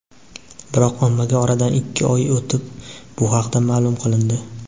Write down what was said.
biroq ommaga oradan ikki oy o‘tib bu haqda ma’lum qilindi.